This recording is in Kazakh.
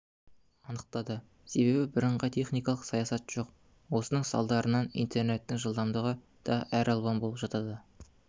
анықтады себебі бірыңғай теіникалық саясат жоқ осының салдарынан интернеттің жылдамдығы да әр алуан болып жатады